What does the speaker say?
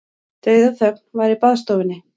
Dauðaþögn var í baðstofunni.